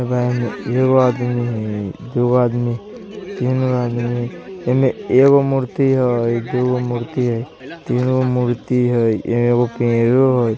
एगो आदमी हैय दुगो आदमी हैय तीन गो आदमी हैय ईमे एगो मूर्ति हैय दुगो मूर्ति हैय तीन गो मूर्ति हैय।